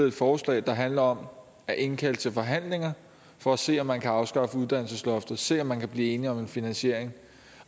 et forslag der handler om at indkalde til forhandlinger for at se om man kan afskaffe uddannelsesloftet se om man kan blive enige om en finansiering